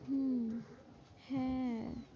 হম হ্যাঁ